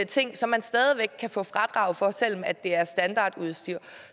ting som man stadig væk kan få fradrag for selv om det er standardudstyr